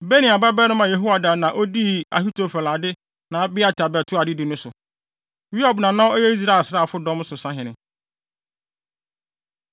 Benaia babarima Yehoiada na odii Ahitofel ade na Abiatar bɛtoaa adedi no so. Yoab na na ɔyɛ Israel asraafodɔm no so sahene.